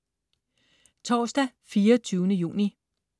Torsdag den 24. juni